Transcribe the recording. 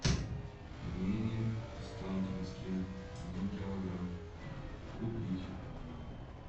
пельмени останкинские один килограмм купить